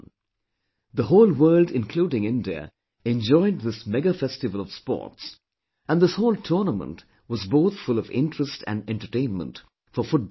The whole world including India enjoyed this mega festival of sports and this whole tournament was both full of interest and entertainment for football lovers